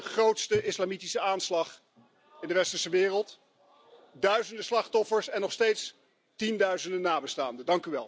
Dat was de grootste islamitische aanslag in de westerse wereld duizenden slachtoffers en nog steeds tienduizenden nabestaanden.